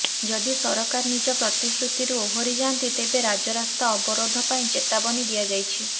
ଯଦି ସରକାର ନିଜ ପ୍ରତିଶ୍ରୁତିରୁ ଓହରି ଯାନ୍ତି ତେବେ ରାଜରାସ୍ତା ଅବରୋଧ ପାଇଁ ଚେତାବନୀ ଦିଆଯାଇଛି